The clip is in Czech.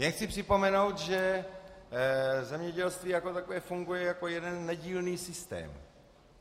Jen chci připomenout, že zemědělství jako takové funguje jako jeden nedílný systém.